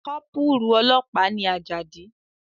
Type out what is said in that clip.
Kọ́pùrù ọlọ́pàá ni Àjàdí